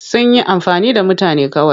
Sun yi amfani da mutane kawai.